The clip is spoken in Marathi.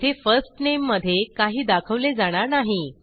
येथे first nameमधे काही दाखवले जाणार नाही